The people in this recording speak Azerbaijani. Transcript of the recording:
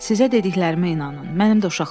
"Sizə dediklərimə inanın."